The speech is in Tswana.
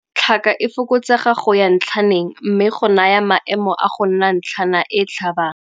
Tlhaka e fokotsega go ya ntlhaneng mme go naya maemo a go nna ntlhana e e "tlhabang".